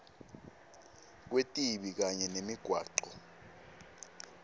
kwetibi kanye nemigwaco